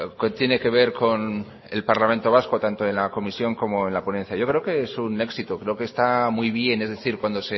que tiene que ver con el parlamento vasco tanto en la comisión como en la ponencia yo creo que es un éxito creo que está muy bien es decir cuando